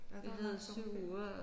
Ja der var lang sommerferie